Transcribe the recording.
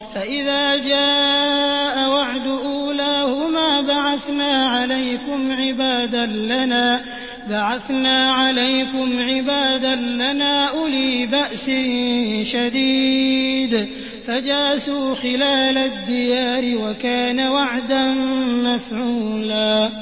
فَإِذَا جَاءَ وَعْدُ أُولَاهُمَا بَعَثْنَا عَلَيْكُمْ عِبَادًا لَّنَا أُولِي بَأْسٍ شَدِيدٍ فَجَاسُوا خِلَالَ الدِّيَارِ ۚ وَكَانَ وَعْدًا مَّفْعُولًا